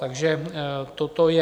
Takže toto je...